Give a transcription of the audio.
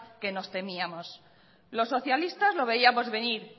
que nos temíamos los socialistas lo veíamos venir